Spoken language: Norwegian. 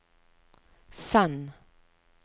send